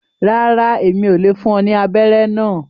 Ràrá, Èmí ò le fún ọ ní abẹrẹ náà